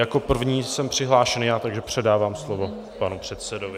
Jako první jsem přihlášený já, takže předávám slovo panu předsedovi.